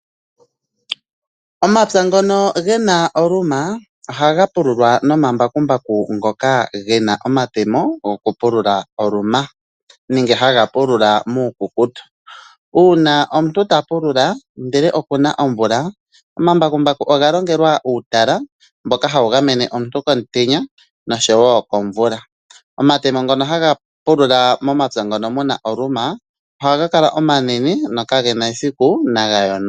Omapya ngono ge na oluma ohaga pululwa nomambakumbaku ngono ge na omatemo gokutatula oluma nenge haga pulula muukukutu. Uuna omuntu ta pulula ndele oku na omvula, omambakumbaku oga longelwa uutala mboka hawu gamene omuntu komutenya noshowo komvula. Omatemo ngono haga pulula mepya mono mu na oluma ohaga kala omanene nokege na esiku naga yonuke.